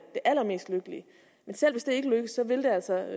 det allermest lykkelige men selv hvis det ikke lykkes vil det altså